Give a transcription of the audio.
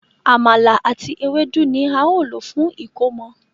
Àmàlà àti Ewédú ní ào ló fún ẹkọmọ.